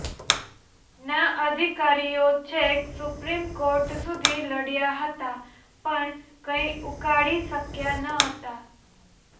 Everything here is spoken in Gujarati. ના અધિકારીઓ છેક સુપ્રિમ કોર્ટ સુધી લડયા હતા પણ કંઇ ઉકાળી શક્યા ન હતા